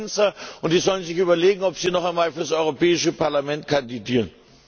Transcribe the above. Das sind Schwänzer, und sie sollen sich überlegen, ob sie noch einmal für das Europäische Parlament kandidieren.